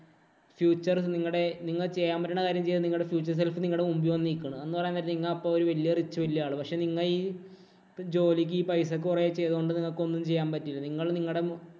future നിങ്ങടെ നിങ്ങള്‍ ചെയ്യാന്‍ പറ്റണ കാര്യം ചെയ്യാന്‍ നിങ്ങടെ feature help നിങ്ങടെ മുമ്പീ വന്നു നിക്കണം. എന്ന് പറയാന്‍ നേരം നിങ്ങ അപ്പൊ വലിയ rich വലിയ ആള് പക്ഷേ, നിങ്ങ ഈ ജോലിക്ക് ഈ പൈസ കുറെ ചെയ്തത് കൊണ്ട് നിങ്ങക്ക് ഒന്നും ചെയ്യാന്‍ പറ്റിയില്ല. നിങ്ങള് നിങ്ങടെ